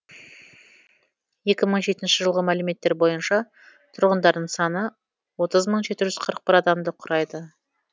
екі мың жетінші жылғы мәліметтер бойынша тұрғындарының саны отыз мың жеті жүз қырық бір адамды құрайды